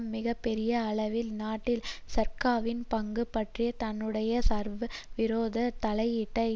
மிக பெரிய அளவில் நாட்டில் சர்காவியின் பங்கு பற்றி தன்னுடைய சட்டவிரோத தலையீட்டை